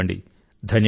ధన్యవాదాలు